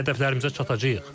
Biz hədəflərimizə çatacağıq.